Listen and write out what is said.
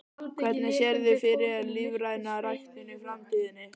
Hvernig sérðu fyrir þér lífræna ræktun í framtíðinni?